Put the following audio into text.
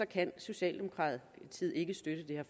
kan socialdemokratiet ikke støtte